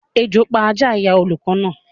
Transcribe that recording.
Ejò pa Ajá ìyá olùkọ́ náà